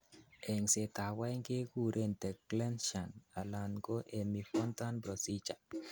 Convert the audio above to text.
Eng'setab oeng' kekuren the Glenn shunt alan ko hemi Fontan procedure.